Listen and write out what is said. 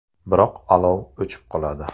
Biroq olov o‘chib qoladi.